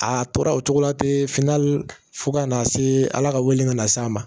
A tora o cogo la ten finna fo ka n'a se ala ka wele ka na s'a ma